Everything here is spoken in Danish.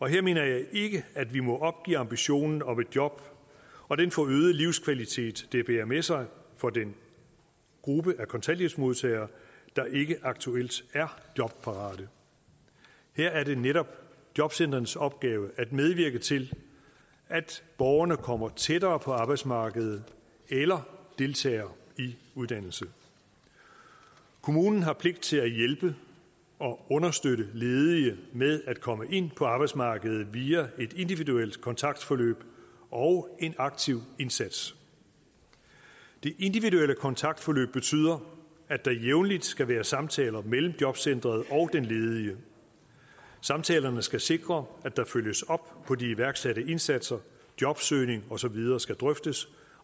her mener jeg ikke at vi må opgive ambitionen om et job og den forøgede livskvalitet det bærer med sig for den gruppe af kontanthjælpsmodtagere der ikke aktuelt er jobparate her er det netop jobcentrenes opgave at medvirke til at borgerne kommer tættere på arbejdsmarkedet eller deltager i uddannelse kommunen har pligt til at hjælpe og understøtte ledige med at komme ind på arbejdsmarkedet via et individuelt kontaktforløb og en aktiv indsats det individuelle kontaktforløb betyder at der jævnligt skal være samtaler mellem jobcentret og den ledige samtalerne skal sikre at der følges op på de iværksatte indsatser jobsøgning og så videre skal drøftes